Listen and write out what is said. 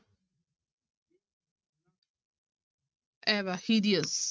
ਇਹਦਾ hideous